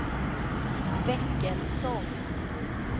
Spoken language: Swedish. Väckelsång